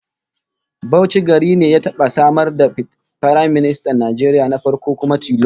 Bauchi gari ne ya taba samar da Firaministan Najeriya na farko kuma tilo